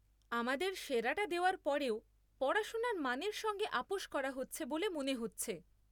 আমাদের সেরাটা দেওয়ার পরেও পড়াশোনোর মানের সঙ্গে আপস করা হচ্ছে বলে মনে হচ্ছে।